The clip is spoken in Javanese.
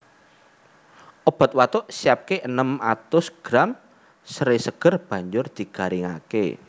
Obat watuk Siapke enem atus gram seré seger banjur digaringake